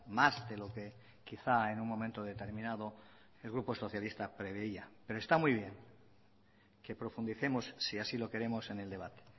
más de lo que quizá en un momento determinado el grupo socialista preveía pero está muy bien que profundicemos si así lo queremos en el debate